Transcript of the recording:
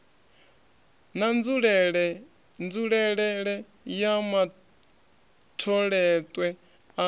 na nzulelele ya matholetwe a